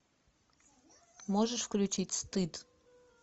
можешь включить стыд